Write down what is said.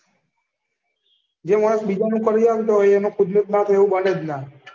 જે માણસ બીજાનું કરી આલતો હોય એનું ખુદ નું ના થાય એવું બને જ ના.